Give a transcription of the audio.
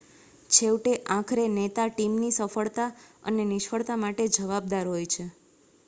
છેવટે આખરે નેતા ટીમની સફળતા અને નિષ્ફળતા માટે જવાબદાર હોય છે